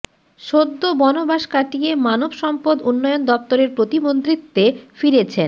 সদ্য বনবাস কাটিয়ে মানব সম্পদ উন্নয়ন দফতরের প্রতিমন্ত্রীত্বে ফিরেছেন